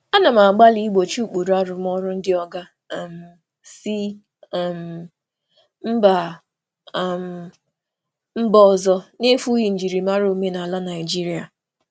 Ana m agbalị igbochi ụkpụrụ arụmọrụ ndị oga si mba ọzọ n'efughị njirimara omenala Naịjirịa.